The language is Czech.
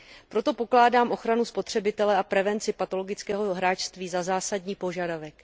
Proto pokládám ochranu spotřebitele a prevenci patologického hráčství za zásadní požadavek.